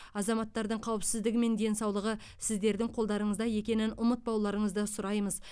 азаматтардың қауіпсіздігі мен денсаулығы сіздердің қолдарыңызда екенін ұмытпауларыңызды сұраймыз